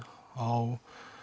á